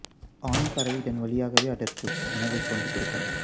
ஆண் பறவை இதன் வழியாகவே அதற்கு உணவைக் கொண்டு கொடுக்கும்